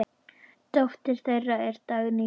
Dóttir þeirra er Dagný Hlín.